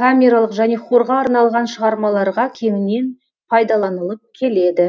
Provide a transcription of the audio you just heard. камералық және хорға арналған шығармаларға кеңінен пайдаланылып келеді